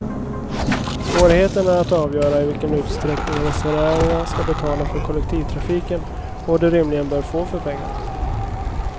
Svårigheten är att avgöra i vilken utsträckning resenärerna skall betala för kollektivtrafiken, och vad de rimligen bör få för pengarna.